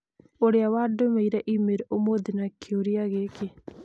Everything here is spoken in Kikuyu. ũrĩa wandũmĩire e-mail ũmũthĩ na kĩũria gĩkĩ: